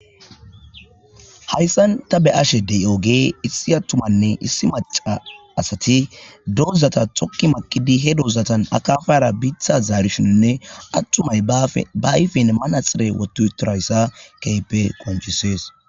hayssan ta be ashedey ooge issi attumanne issi maca asati dozata thokki makidi he dozatan akafara biitha zaarishonne attumay ba ifen manaxire wotu torayssa keype qonchisees